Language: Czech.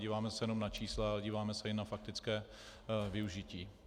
Nedíváme se jenom na čísla, ale díváme se i na faktické využití.